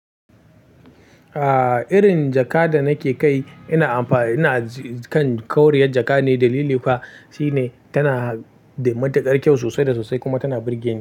Ah, irin jaka da nake kai ina amfana, ina kan ƙoriyar jaka ne. Dalili kuwa shine tana da matuƙar kyau sosai da sosai kuma tana burge ni.